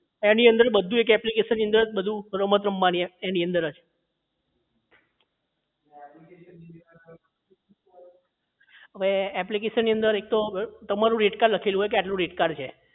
એની અંદર જ એક application ની અંદર જ બધું રમત રમવાની એની અંદર જ એ application ની અંદર એક તો rate card લખેલું હોય કે તમારું કેટલું rate card છે